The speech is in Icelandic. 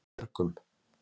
Björgum